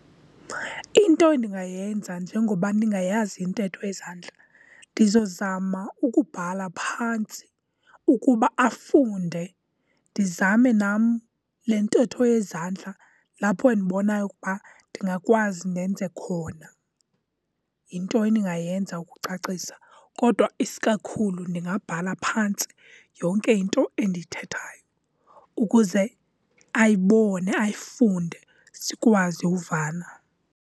Into endingayenza njengoba ndingayazi intetho yezandla, ndizozama ukubhala phantsi ukuba afunde. Ndizame nam le ntetho yezandla lapho endibonayo ukuba ndingakwazi ndenze khona. Yinto endingayenza ukucacisa kodwa isikakhulu, ndingabhala phantsi yonke into endiyithethayo ukuze ayibone, ayifunde, sikwazi uvana.